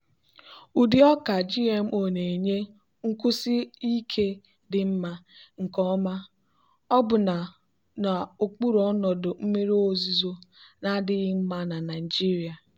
ụdị ọka gmo na-enye nkwụsi ike dị mma nke ọma ọbụna n'okpuru ọnọdụ mmiri ozuzo na-adịghị mma na nigeria.